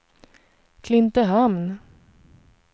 Klintehamn